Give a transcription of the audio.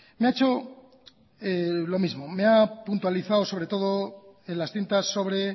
me ha hecho lo mismo me ha puntualizado sobre todo en las cintas sobre